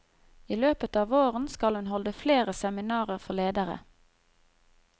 I løpet av våren skal hun holde flere seminarer for ledere.